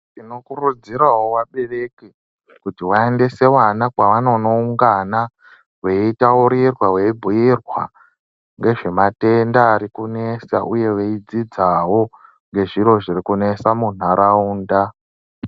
Tinokurudzirawo vabereki kuti vaendese vana kwevanonoungana, veitaurirwa veibhuyirwa ngezvemadenda arikunesa uye veidzidzawo ngezviro zvirikunesa muntaraunda.